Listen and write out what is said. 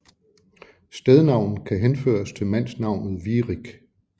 Stednavnet kan henføres til mandsnavnet Virik